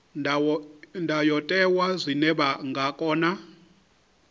ndayotewa zwine vha nga kona